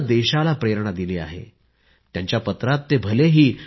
it will not come easy it will take sacrifice of time and comfort